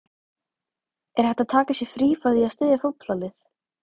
Er hægt að taka sér frí frá því að styðja fótboltalið?